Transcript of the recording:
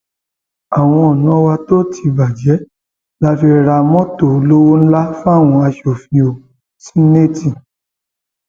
àwọn ọnà wa tó ti bàjẹ la fi ra mọtò olówó ńlá fáwọn aṣòfin o seneetí